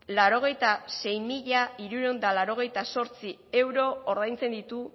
laurogeita hamasei mila hirurehun eta laurogeita zortzi euro ordaintzen ditu